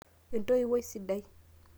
entoiwuoi sidai